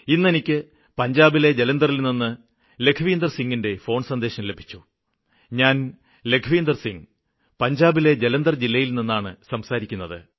ഇന്ന് എനിക്ക് പഞ്ചാബിലെ ജലന്തറില്നിന്ന് ലഖ്വിന്ദര്സിംഗിന്റെ ഫോണ് സന്ദേശം ലഭിച്ചു ഞാന് ലഖ്വിന്ദര് സിംഗ് പഞ്ചാബിലെ ജലന്തര് ജില്ലയില് നിന്നാണ് സംസാരിക്കുന്നത്